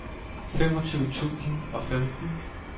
femogtyve tusind og femten